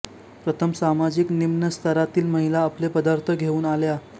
प्रथम सामाजिक निम्न स्तरातील महिला आपले पदार्थ घेऊन आल्या